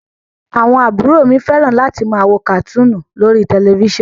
Àwọn àbúrò mi fẹ́ràn láti máa wo kàtúùnù lórí tẹ̀lifísàn